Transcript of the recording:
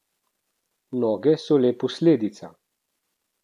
Noge so le posledica.